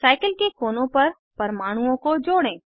cycle के कोनों पर परमाणुओं को जोड़ें